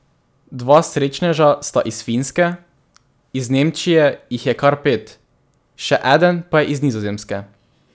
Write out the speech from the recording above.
Dva srečneža sta iz Finske, iz Nemčije jih je kar pet, še eden pa je iz Nizozemske.